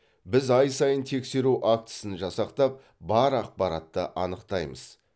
біз ай сайын тексеру актісін жасақтап бар ақпаратты анықтаймыз